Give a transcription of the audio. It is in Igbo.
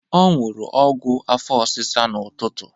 Ọ ṅụrụ ọgwụ afọ ọsịsa n'ụtụtụ.